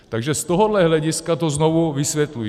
Takže z tohohle hlediska to znovu vysvětluji.